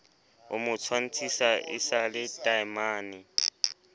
o mo tshwantshisa le taemane